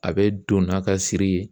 A bɛ don n'a ka siri ye.